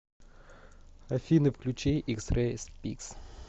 афина включи икс рэй спикс